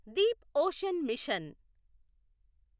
Deep ocean machine